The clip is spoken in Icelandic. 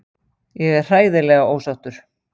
Ég er hræðilega ósáttur.